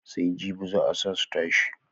Sai jibi zaa su tashi.